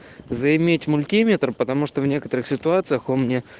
заиметь мультиметр потому что в некоторых ситуациях он мне